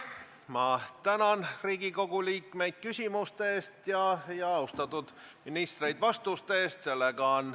Ma tänan Riigikogu liikmeid küsimuste eest ja austatud ministreid vastuste eest!